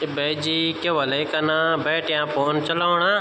ते भैजी क्या ह्वोला ये कना बैठ्या फोन चलौणा।